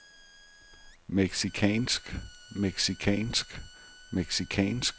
mexicansk mexicansk mexicansk